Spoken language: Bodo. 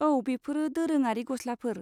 औ, बेफोरो दोरोङारि गस्लाफोर।